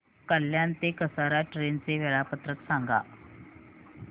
कल्याण ते कसारा ट्रेन चे वेळापत्रक सांगा